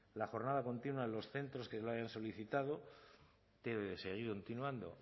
la jornada continua en los centros que lo hayan solicitado debe seguir continuando